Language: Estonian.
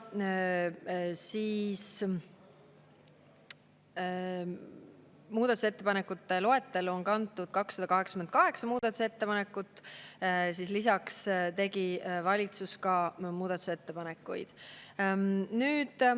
Muudatusettepanekute loetellu on kantud 288 muudatusettepanekut, sest lisaks tegi ka valitsus muudatusettepanekuid.